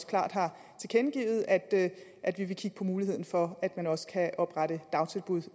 klart har tilkendegivet at at vi vil kigge på muligheden for at man også kan oprette dagtilbud